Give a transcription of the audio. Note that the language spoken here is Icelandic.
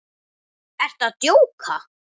Ertu að djóka?